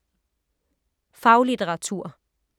Faglitteratur